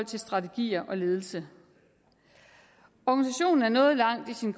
til strategier og ledelse organisationen er nået langt i sin